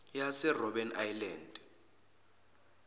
yase robben island